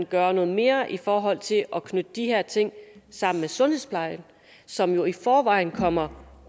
gøre noget mere i forhold til at knytte de her ting sammen med sundhedsplejen som jo i forvejen kommer